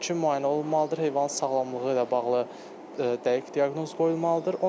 İlkin müayinə olunmalıdır, heyvanın sağlamlığı ilə bağlı dəqiq diaqnoz qoyulmalıdır.